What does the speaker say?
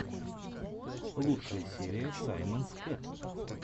лучшая серия саймонс кэт